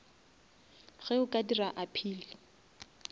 ge a ka dira appeal